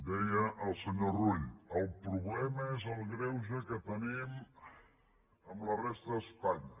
deia el senyor rull el problema és el greuge que tenim amb la resta d’espanya